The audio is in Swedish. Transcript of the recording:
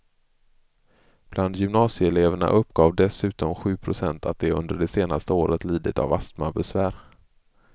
Bland gymnasieeleverna uppgav dessutom sju procent att de under det senaste året lidit av astmabesvär.